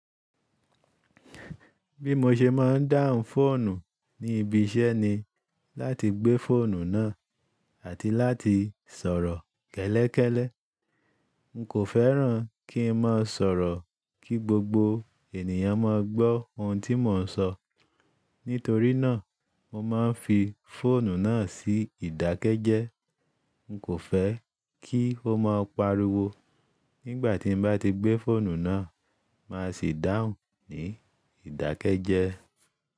Bí mo ṣe má ń dáhùn fóònù ní ibi iṣẹ́ ni láti gbé fóònù náà àti láti sọ̀rọ̀ kẹ́lẹ́kẹ́lẹ́. N kò fẹ́ràn kí n má sọ̀rọ̀ kí gbogbo ènìyàn má gbọ́ ohun tí mò ń sọ. Nítorí náà mo má ń fi fóònù náà sí ìdákẹ́jẹ́. N kò fẹ́ kí o má pariwo nígbà tí n bá ti gbé fóònù náà. Má sì dáhùn ní ìdákẹ́jẹ́.